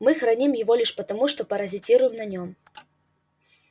мы храним его лишь потому что паразитируем на нем